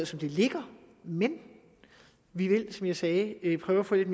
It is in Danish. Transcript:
som det ligger men vi vil som jeg sagde prøve at få lidt